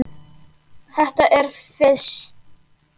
Þetta er fis.